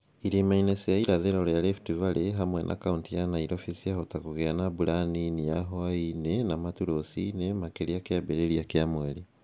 Irĩma-inĩ cia irathĩro rĩa Rift Valley (hamwe na kauntĩ ya Nairobi) ciahota kũgĩa na mbura nini ya hwaĩ-inĩ na matu rũcinĩ makĩria kĩambĩrĩria kĩa mweri